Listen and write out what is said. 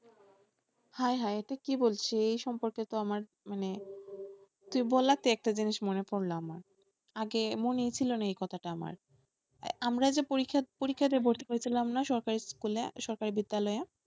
হায় হায় এটা কি বলছিস এই সম্পর্কে তো আমার মানে তুই বলাতে একটা জিনিস মনে পড়লো আমার আগে মনে ছিলো না এই কথাটা আমার, আমরা যে পরীক্ষা পরীক্ষা দিয়ে ভর্তি হয়েছিলাম না সরকারি স্কুলে সরকারি বিদ্যালয়ে,